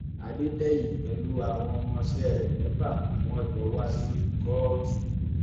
adédèyìn pẹlú àwọn ọmọọṣẹ rẹ mẹfà ni wọn jọ wá sí kóòtù